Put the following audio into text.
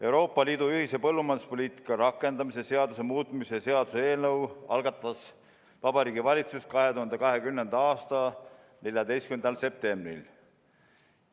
Euroopa Liidu ühise põllumajanduspoliitika rakendamise seaduse muutmise seaduse eelnõu algatas Vabariigi Valitsus 2020. aasta 14. septembril.